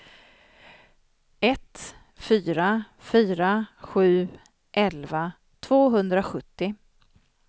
ett fyra fyra sju elva tvåhundrasjuttio